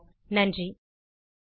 குரல் கொடுத்தது ஐட் பாம்பே லிருந்து பிரியா